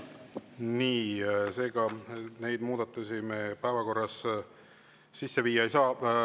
Nii, seega neid muudatusi päevakorras me sisse viia ei saa.